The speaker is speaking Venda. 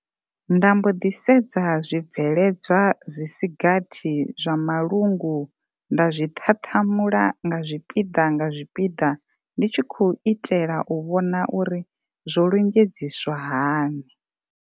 Nda mbo ḓi sedza zwi bveledzwa zwi si gathi zwa malungu nda zwi ṱhaṱhamula nga zwipiḓa nga zwipiḓa ndi tshi khou itela u vhona uri zwo lunzhedziswa hani.